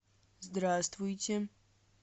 здравствуйте